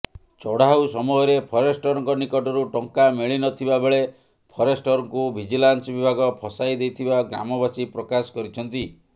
ଚଢାଉ ସମୟରେ ଫରେଷ୍ଟରଙ୍କ ନିକଟରୁ ଟଙ୍କା ମିଳିନଥିବା ବେଳେ ଫରେଷ୍ଟରଙ୍କୁ ଭିଜିଲାନ୍ସ ବିଭାଗ ଫସାଇଦେଇଥିବା ଗ୍ରାମବାସୀ ପ୍ରକାଶ କରିଛନ୍ତି